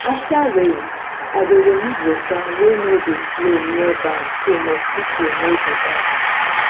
after rain i dey remove water wey nor de flow near barn so mosquito no go gather